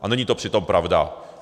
A není to přitom pravda.